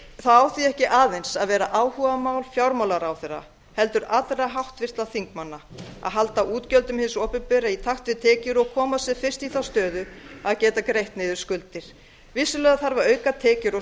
á því ekki aðeins að vera áhugamál fjármálaráðherra heldur allra háttvirtra þingmanna að hala útgjöldum hins opinbera í takt við tekjur og komast sem fyrst í þá stöðu að geta greitt niður skuldir vissulega þarf að auka tekjur og